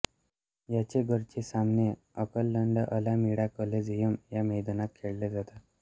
याचे घरचे सामने ओकलंडअलामीडा कोलेझियम या मैदानात खेळले जातात